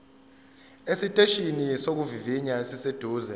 esiteshini sokuvivinya esiseduze